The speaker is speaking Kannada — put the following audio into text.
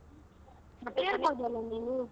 ಕೇಳ್ಬೋದಲ್ಲ ನೀನು?